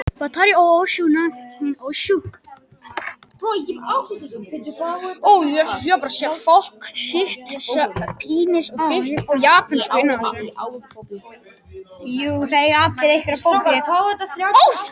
Otkell, spilaðu lagið „Leyndarmál frægðarinnar“.